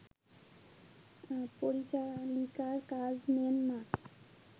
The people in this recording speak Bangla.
পরিচারিকার কাজ নেন মা